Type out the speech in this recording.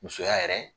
Musoya yɛrɛ